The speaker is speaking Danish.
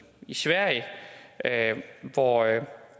sverige hvor